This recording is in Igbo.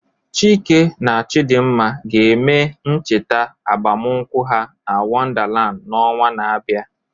Chike na Chidimma ga-eme ncheta agbamakwụkwọ ha na Wonderland n'ọnwa na-abịa